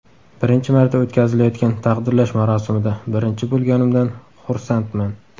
Birinchi marta o‘tkazilayotgan taqdirlash marosimida birinchi bo‘lganimdan xursandman.